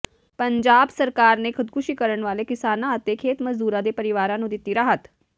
ਪੰਜਾਬ ਸਰਕਾਰ ਨੇ ਖ਼ੁਦਕੁਸ਼ੀ ਕਰਨ ਵਾਲੇ ਕਿਸਾਨਾਂ ਅਤੇ ਖੇਤ ਮਜ਼ਦੂਰਾਂ ਦੇ ਪਰਿਵਾਰਾਂ ਨੂੰ ਦਿੱਤੀ ਰਾਹਤ